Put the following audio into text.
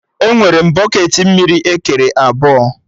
Enwere m bọketị mmiri ekere ebọ